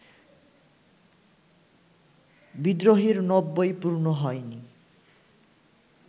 ‘বিদ্রোহী’র নব্বই পূর্ণ হয়নি